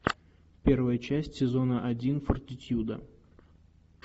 первая часть сезона один фортитьюда